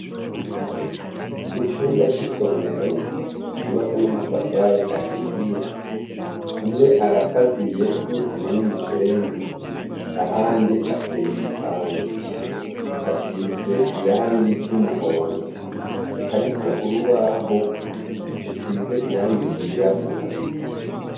Mu cumba c'isomero yubatse n'amatafari ahiye hamwe arakaziye n'isima n'umusenyi ahandi ateye igipande asize irangi ry'umuhondo hariko urubaho rusize irangi ryirabura.